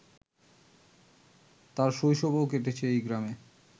তার শৈশবও কেটেছে এই গ্রামে।